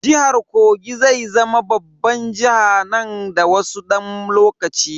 Jihar Kogi zai zama babban jiha nan da wasu dan lokaci.